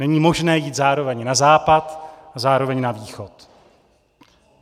Není možné jít zároveň na západ a zároveň na východ.